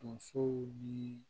Donsow ni